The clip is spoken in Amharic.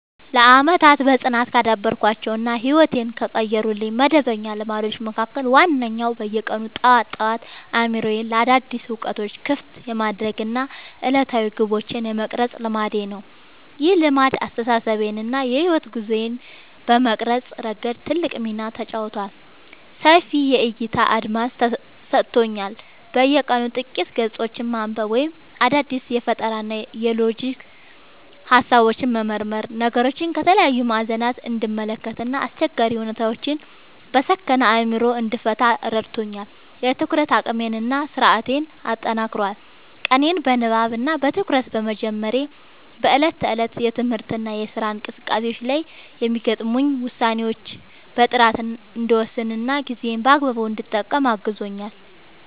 ለዓመታት በጽናት ካዳበርኳቸው እና ሕይወቴን ከቀየሩልኝ መደበኛ ልማዶች መካከል ዋነኛው በየቀኑ ጠዋት ጠዋት አእምሮዬን ለአዳዲስ እውቀቶች ክፍት የማድረግ እና ዕለታዊ ግቦቼን የመቅረጽ ልማዴ ነው። ይህ ልማድ አስተሳሰቤን እና የሕይወት ጉዞዬን በመቅረጽ ረገድ ትልቅ ሚና ተጫውቷል፦ ሰፊ የዕይታ አድማስ ሰጥቶኛል፦ በየቀኑ ጥቂት ገጾችን ማንበብ ወይም አዳዲስ የፈጠራና የሎጂክ ሃሳቦችን መመርመር ነገሮችን ከተለያዩ ማዕዘናት እንድመለከት እና አስቸጋሪ ሁኔታዎችን በሰከነ አእምሮ እንድፈታ ረድቶኛል። የትኩረት አቅሜን እና ስነ-ስርዓቴን አጠናክሯል፦ ቀኔን በንባብ እና በትኩረት በመጀመሬ በዕለት ተዕለት የትምህርትና የሥራ እንቅስቃሴዎቼ ላይ የሚገጥሙኝን ውሳኔዎች በጥራት እንድወስንና ጊዜዬን በአግባቡ እንድጠቀም አግዞኛል።